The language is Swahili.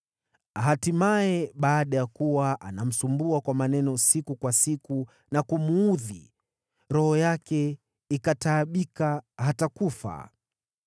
Hatimaye, baada ya kuwa anamsumbua kwa maneno siku kwa siku na kumuudhi, roho yake ikataabika hata kufa.